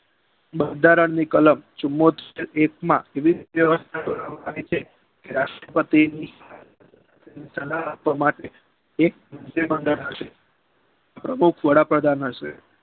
બંધારણની કલમ ચુંમોતેર એકમાં વિવિધ રાષ્ટ્રપતિની સલાહ આપવા માટે પ્રમુખ વડાપ્રધાન હશે.